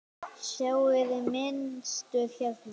Sjáiði mynstur hérna?